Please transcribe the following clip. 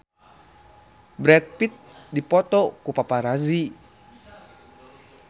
Brad Pitt dipoto ku paparazi